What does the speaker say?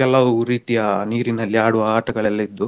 ಕೆಲವು ರೀತಿಯ ನೀರಿನಲ್ಲಿ ಆಡುವ ಆಟಗಳೆಲ್ಲ ಇದ್ವು.